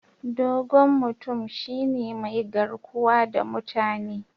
Dogon mutum shine mai garkuwa da mutane.